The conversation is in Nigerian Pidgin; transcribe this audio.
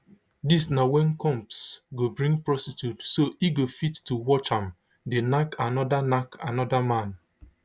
dis na wen combs go bring prostitute so e go fit to watch am dey nack anoda nack anoda man